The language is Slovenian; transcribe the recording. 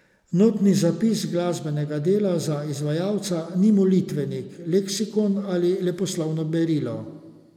Notni zapis glasbenega dela za izvajalca ni molitvenik, leksikon ali leposlovno berilo.